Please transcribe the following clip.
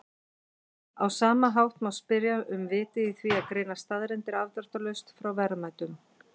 Á sama hátt má spyrja um vitið í því að greina staðreyndir afdráttarlaust frá verðmætum.